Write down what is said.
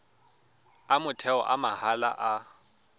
a motheo a mahala a